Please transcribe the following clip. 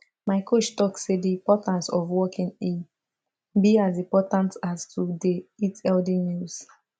my coach talk say the importance of walking e be as important as to dey eat healthy meals